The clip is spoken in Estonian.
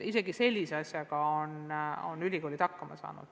Isegi sellise asjaga on ülikoolid hakkama saanud.